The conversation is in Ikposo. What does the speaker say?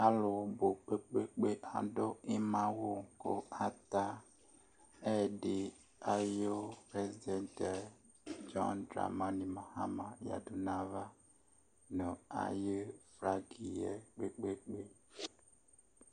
Alʋ bʋ kpe-kpe-kpe adʋ ɩma awʋ kʋ ata ɛyɛdɩ ayʋ prɛsidɛnt yɛ dzɔn dramanɩ maɣama yǝdu nʋ ayava nʋ ayʋ flagɩ yɛ kpe-kpe-kpe.